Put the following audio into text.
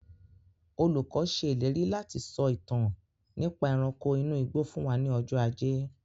Olùkọ́ se ìlérí láti sọ ìtàn nípa ẹranko inú igbó fún wa ní ọjọ́ ajé